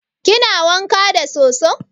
Kina wanka da soso?